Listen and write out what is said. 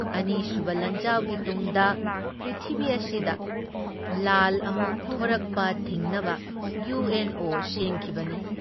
ꯑꯅꯤꯁꯨꯕ ꯂꯥꯟꯖꯥꯎꯒꯤ ꯇꯨꯡꯗ ꯄ꯭ꯔꯤꯊꯤꯕꯤ ꯑꯁꯤꯗ ꯂꯥꯜ ꯑꯃꯨꯛ ꯊꯣꯔꯛꯄ ꯊꯤꯡꯅꯕ ꯏꯌꯨ ꯑꯦꯟ ꯑꯣ ꯁꯦꯝꯈꯤꯕꯅꯤ ꯫